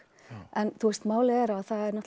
en málið er að